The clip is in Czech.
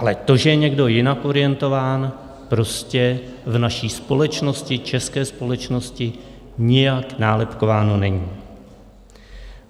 Ale to, že je někdo jinak orientován, prostě v naší společnosti, české společnosti, nijak nálepkováno není.